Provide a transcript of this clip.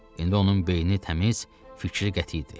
İndi onun beyni təmiz, fikri qəti idi.